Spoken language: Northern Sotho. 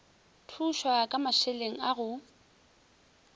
thušwa ka mašeleng a go